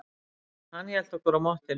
Hann hélt okkur á mottunni.